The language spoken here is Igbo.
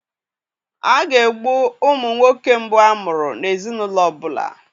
A ga-egbu ụmụ nwoke mbụ a mụrụ n'ezinaụlọ ọbụla.